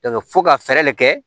fo ka fɛɛrɛ de kɛ